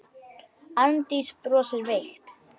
Arndís brosir veikt.